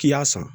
K'i y'a san